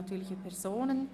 natürliche Personen